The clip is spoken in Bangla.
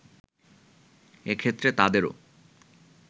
এক্ষেত্রে তাদেরও